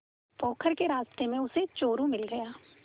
पोखर के रास्ते में उसे चोरु मिल गया